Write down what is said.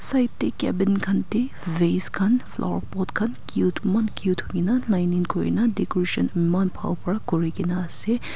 side teh cabin khan teh vase khan flower pot khan cute eman cute hoi ke na line line koi na decoration eman bhal pra kore ke na ase.